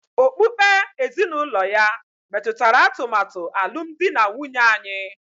Okpukpe ezinụlọ ya metụtara atụmatụ alụmdi na nwunye anyị